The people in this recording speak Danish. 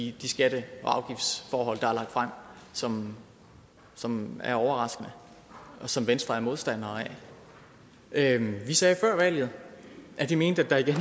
i de skatte og afgiftsforhold der er lagt frem som som er overraskende og som venstre er modstandere af vi sagde før valget at vi mente at der igen